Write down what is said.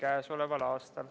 Aitäh!